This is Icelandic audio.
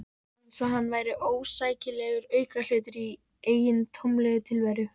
Eins og hann væri óæskilegur aukahlutur í eigin tómlegu tilveru.